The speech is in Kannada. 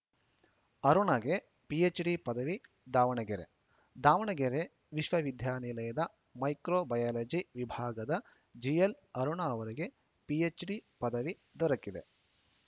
ಅರುಣಗೆ ಪಿಎಚ್‌ಡಿ ಪದವಿ ದಾವಣಗೆರೆ ದಾವಣಗೆರೆ ವಿಶ್ವವಿದ್ಯಾನಿಲಯದ ಮೈಕ್ರೋ ಬಯಾಲಜಿ ವಿಭಾಗದ ಜಿಎಲ್‌ ಅರುಣ ಅವರಿಗೆ ಪಿಎಚ್‌ಡಿ ಪದವಿ ದೊರಕಿದೆ